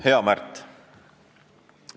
Hea Märt!